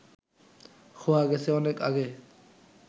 খোয়া গেছে অনেক আগে